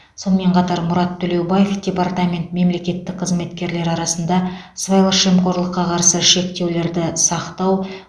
сонымен қатар мұрат төлеубаев департамент мемлекеттік қызметкерлер арасында сыбайлас жемқорлыққа қарсы шектеулерді сақтау